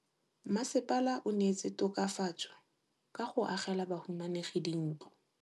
Mmasepala o neetse tokafatsô ka go agela bahumanegi dintlo.